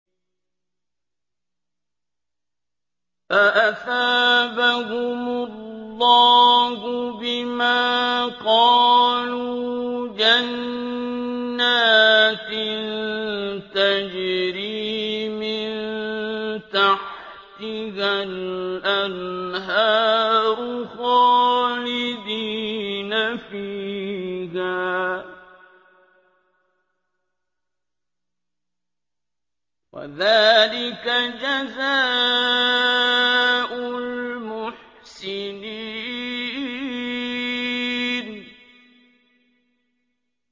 فَأَثَابَهُمُ اللَّهُ بِمَا قَالُوا جَنَّاتٍ تَجْرِي مِن تَحْتِهَا الْأَنْهَارُ خَالِدِينَ فِيهَا ۚ وَذَٰلِكَ جَزَاءُ الْمُحْسِنِينَ